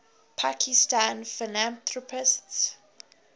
pakistani philanthropists